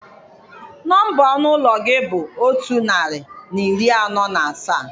Nọmba ọnụ ụlọ gị bụ otu narị na iri anọ na asaa